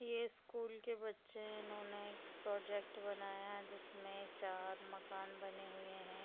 ये स्कूल के बच्चे है इन्होने एक प्रोजेक्ट बनाया हैं जिसमे चार मकान बने हुए है।